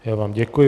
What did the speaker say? Já vám děkuji.